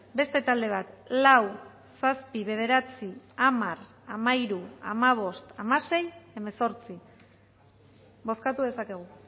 beste talde bat lau zazpi bederatzi hamar hamairu hamabost hamasei hemezortzi bozkatu dezakegu